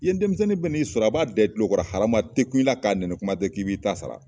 Yen denmisɛnnin bɛ n'i sɔrɔ a b'a da i tulokɔrɔ halama a tɛ kun in la k'a nɛni kuma tɛ k'i b'i ta sara.